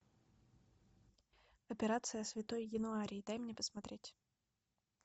операция святой януарий дай мне посмотреть